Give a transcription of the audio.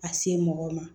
A se mɔgɔ ma